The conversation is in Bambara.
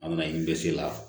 An bɛna i dɛsɛ ala